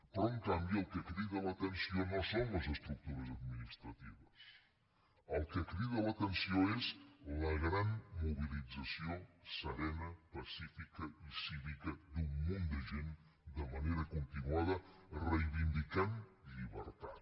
però en canvi el que crida l’atenció no són les estructures administratives el que crida l’atenció és la gran mobilització serena pacífica i cívica d’un munt de gent de manera continuada reivindicant llibertat